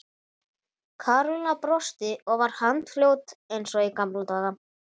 Karólína brosti og var handfljót eins og í gamla daga.